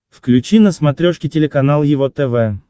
включи на смотрешке телеканал его тв